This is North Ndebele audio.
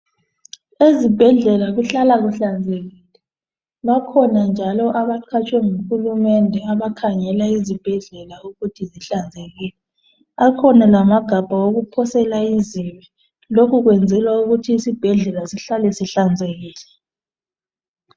Ezibhedlela kuhlala kuhlanzekile bakhona njalo abaqhatshwe nguhulumende abakhangela izibhedlela ukuthi zihlanzekile, akhona lamagabha okuphosela izibi lokhu kwenzela ukuthi isibhedlela sihlale sihlanzekile.